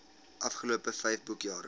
afgelope vyf boekjare